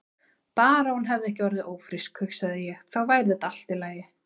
Bara að hún hefði ekki orðið ófrísk, hugsaði ég, þá væri þetta allt í lagi.